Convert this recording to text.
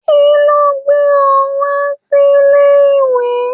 Kilo gbé ọ wá silè ìwé?